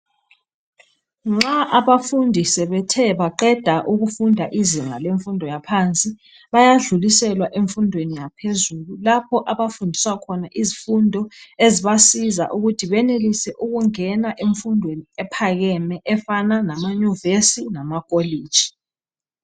Nxa abafundi sebethe baqeda ukufunda. izinga lemfunfo yezinga laphansi. Bayadluliselwa emfundweni yaphezulu. Lapho abafundiswa khona izifundo ezibavumela ukuthi bangene emfundweni, ephskeme. Efana lama yumivesi, lamakolitshi.